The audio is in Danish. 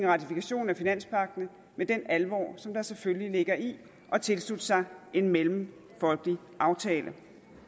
og ratifikationen af finanspagten med den alvor som der selvfølgelig ligger i at tilslutte sig en mellemfolkelig aftale